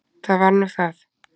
Það var nú það.